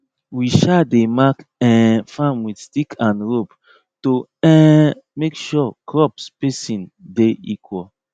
we um dey mark um farm with stick and rope to um make sure crop spacing de equal